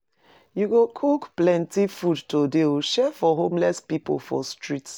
We go cook plenty food today o share for homeless pipu for street.